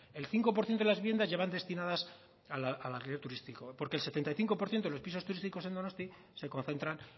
el cinco por ciento de las viviendas ya van destinadas al alquiler turístico porque el setenta y cinco por ciento de los pisos turísticos en donostia se concentran